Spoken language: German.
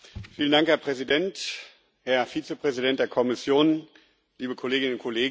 Herr Präsident, Herr Vizepräsident der Kommission, liebe Kolleginnen und Kollegen!